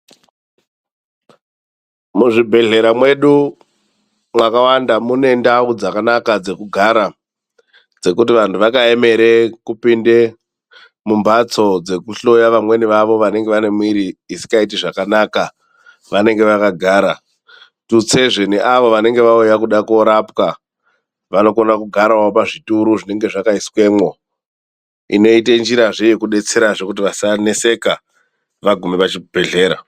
Muzvibhedhlera mwedu makawanda mune ndau dzakanaka dzekugara, dzekuti vantu vakayemere kupinda mumbatso dzokuhloya vamweni vavo vanenge vane miviri isingaiti zvakanaka, vanenge vakagara, tutsezve neavo vanenge vauya kuda kurapwa, vanogona kugara pazvituro zvinenge zvakaiswemo inoite njira yokubetserezve vasaneseka vagume pachibhedhlera.